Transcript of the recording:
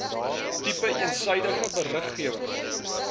tipe eensydige beriggewing